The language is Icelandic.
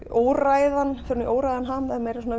óræðan óræðan ham